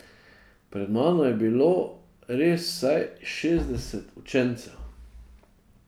Pred mano je bilo res vsaj šestdeset učencev.